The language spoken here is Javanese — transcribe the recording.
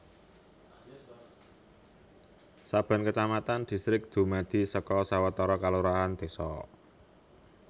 Saben kacamatan distrik dumadi saka sawetara kalurahan désa